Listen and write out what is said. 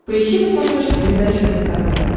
поищи на смотрешке передачу рбк тв